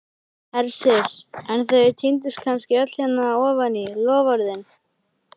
Hersir: en þau týndust kannski öll hérna ofan í, loforðin?